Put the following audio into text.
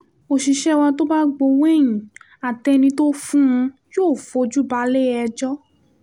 òṣìṣẹ́ wa tó bá gbowó ẹ̀yìn àtẹni tó fún un yóò fojú balẹ̀-ẹjọ́